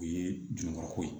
O ye jɔn ka ko ye